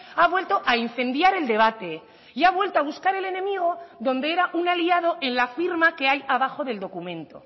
ha vuelto a incendiar el debate y ha vuelto a buscar el enemigo donde era un aliado en la firma que hay abajo del documento